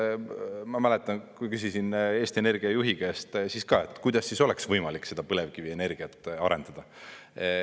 Ma mäletan, kui küsisin Eesti Energia juhi käest, kuidas siis oleks võimalik seda põlevkivienergiat arendada.